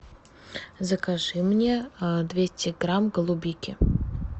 закажи мне двести грамм голубики